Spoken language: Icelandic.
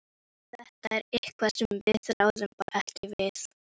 Þetta er eitthvað sem við ráðum bara ekki við.